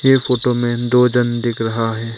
ये फोटो में दो जन दिख रहा है।